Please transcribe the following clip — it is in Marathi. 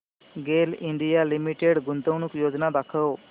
गेल इंडिया लिमिटेड गुंतवणूक योजना दाखव